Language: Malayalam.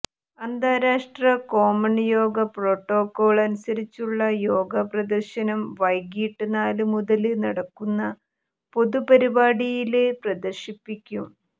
അന്താരാഷ്്ട്ര കോമണ് യോഗാ പ്രോട്ടോക്കാള് അനുസരിച്ചുള്ള യോഗ പ്രദര്ശനം വൈകിട്ട് നാലുമുതല് നടക്കുന്ന പൊതുപരിപാടിയില് പ്രദര്ശിപ്പിക്കും